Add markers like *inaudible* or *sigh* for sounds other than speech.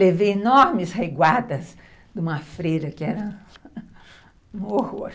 Levei enormes reguadas de uma freira que era *laughs* um horror.